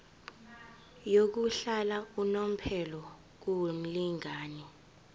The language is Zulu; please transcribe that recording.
yokuhlala unomphela kumlingani